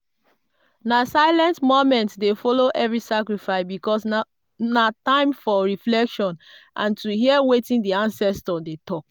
na silent moment dey follow every sacrifice because na time for reflection and to hear wetin di ancestors dey talk.